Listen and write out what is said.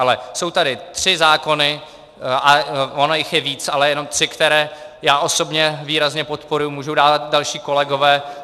Ale jsou tady tři zákony, a ono jich je víc, ale jenom tři, které já osobně výrazně podporuji, můžou dávat další kolegové.